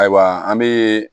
Ayiwa an be